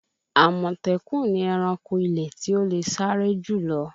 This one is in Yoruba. Àmọ̀tẹ́kùn ni ẹranko ilẹ̀ tí ó le sáré jù lọ